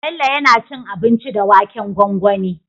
Bello yAna cin abinci da waken gwangwani